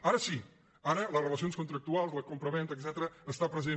ara sí ara les relacions contractuals la compravenda etcètera està present